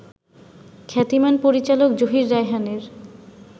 খ্যাতিমান পরিচালক জহির রায়হানের